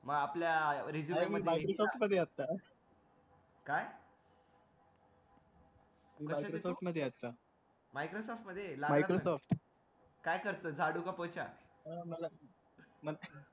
मग आपल्या resume मध्ये काय Microsoft मध्ये असतात Microsoft मध्ये काय करतो झाडू का पोछा